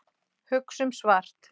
Hugsum svart.